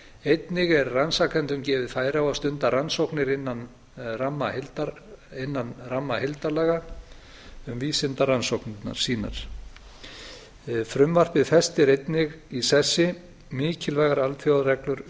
einnig er rannsakendum gefið færi á að stunda rannsóknir innan ramma heildarlaga um vísindarannsóknir sínar frumvarpið festir einnig í sessi mikilvægar alþjóðareglur um